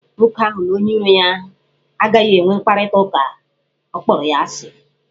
Nwoke ahụ na onye iro ya agaghị enwe mkparịta ụka, ọ kpọrọ ya asị.